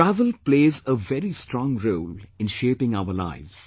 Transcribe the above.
Travel plays a very strong role in shaping our lives